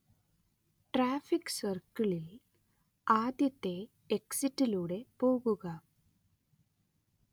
traffic സർക്കിളിൽ ആദ്യത്തെ എക്സിറ്റിലൂടെ പോകുക